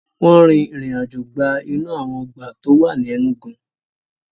Wọ́n rin ìrìn àjò gba inú àwọn ọgbà tó wà ní Enugu